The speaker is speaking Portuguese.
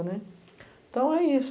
né. Então é isso.